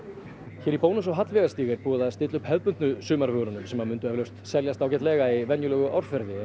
hér í Bónus á Hallveigarstíg er búið að stilla upp hefðbundnu sumarvörunum sem mundu eflaust seljast ágætlega í venjulegu árferði en